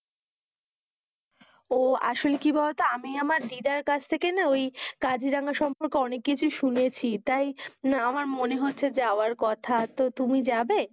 ও আসলে কি বোলো তো, আমি আমার দিদার কাছ থেকে না ওই কাজিরাঙা সম্পর্কে অনেক কিছু শুনেছে তাই আমার মনে হচ্ছে যাওয়ার কথা, তো তুমি যাবে,